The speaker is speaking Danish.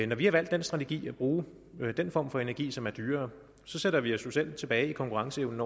når vi har valgt den strategi at bruge den form for energi som er dyrere sætter vi jo os selv tilbage i konkurrenceevnen